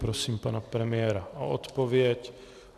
Prosím pana premiéra o odpověď.